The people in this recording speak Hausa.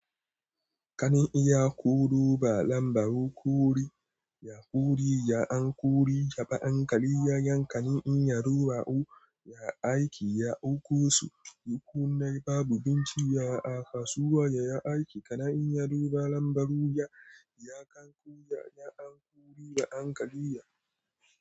Kana iya ƙuru ba lambar ƙuri, ƙuri an ƙuri, ya ba anƙali, ya yanka, in ya duba, ya aiki, ya ɗauko su, duk kuna babu bin jiya a kasuwa, ya yi aiki, kana in ya duba lambar ruya, ya kanƙu, ya anƙuri da anƙaliya.